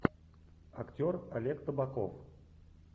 актер олег табаков